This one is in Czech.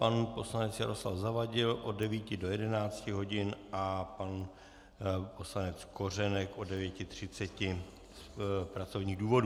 Pan poslanec Jaroslav Zavadil od 9 do 11 hodin a pan poslanec Kořenek od 9.30 z pracovních důvodů.